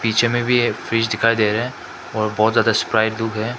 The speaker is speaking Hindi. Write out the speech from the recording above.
पीछे में भी है फ्रिज दिखा दे रहा है और बहुत ज्यादा स्प्राइट है।